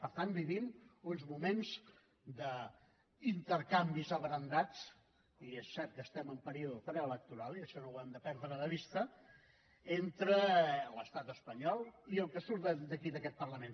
per tant vivim uns moments d’intercanvis abrandats i és cert que estem en període preelectoral i això no ho hem de perdre de vista entre l’estat espanyol i el que surt d’aquí d’aquest parlament